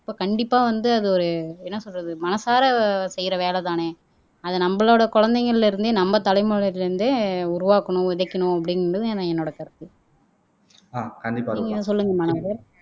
அப்ப கண்டிப்பா வந்து அது ஒரு என்ன சொல்றது மனசார செய்யற வேலைதானே அது நம்மளோட குழந்தைங்கள்ல இருந்தே நம்ம தலைமுறையில இருந்தே உருவாக்கணும் விதைக்கணும் அப்படின்றது என் என்னோட கருத்து நீங்க சொல்லுங்க மனோகர்